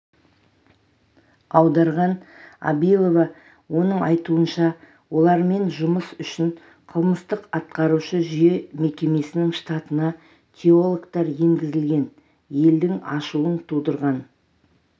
аударған абилова оның айтуынша олармен жұмыс үшін қылмыстық-атқарушы жүйе мекемесінің штатына теологтар енгізілген елдің ашуын тудырған